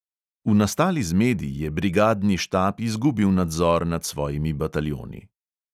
V nastali zmedi je brigadni štab izgubil nadzor nad svojimi bataljoni.